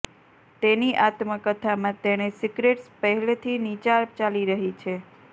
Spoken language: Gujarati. તેની આત્મકથામાં તેણે સિક્રેટ્સ પહેલેથી નીચા ચાલી રહી છે